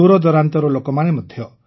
ଦୂରଦୂରାନ୍ତର ଲୋକମାନେ ମଧ୍ୟ